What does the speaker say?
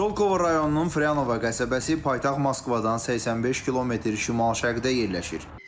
Şolkov rayonunun Fryanovo qəsəbəsi paytaxt Moskvadan 85 km şimal-şərqdə yerləşir.